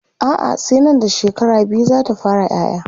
a'a sai Nan da shekara biyu zata fara ƴaƴa